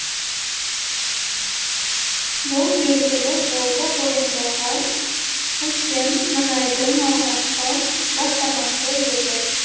бұл белгілі волга бойындағы үлкен мұнайдың алғашқы бастамасы еді